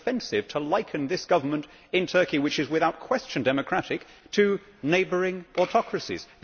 It is offensive to liken this government in Turkey, which is without question democratic, to neighbouring autocracies.